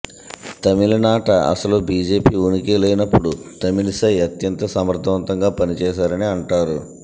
తమిళనాట అసలు బీజేపీ ఉనికే లేనప్పుడు తమిళిసై అత్యంత సమర్ధవంతంగా పనిచేశారని అంటారు